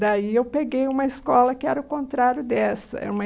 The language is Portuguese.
Daí eu peguei uma escola que era o contrário dessa era uma